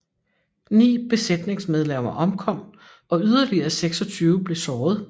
Ni besætningsmedlemmer omkom og yderligere 26 blev såret